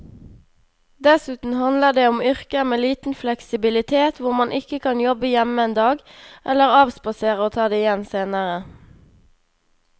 Dessuten handler det om yrker med liten fleksibilitet hvor man ikke kan jobbe hjemme en dag eller avspasere og ta det igjen senere.